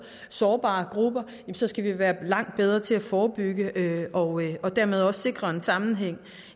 sårbare grupper skal vi være langt bedre til at forebygge og dermed også sikre en sammenhæng